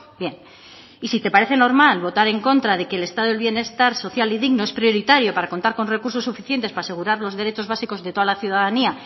bien y si te parece normal votar en contra de que el estado del bienestar social y digno es prioritario para contar con recursos suficientes para asegurar los derechos básicos de toda la ciudadanía